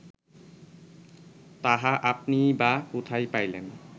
তাহা আপনিই বা কোথায় পাইলেন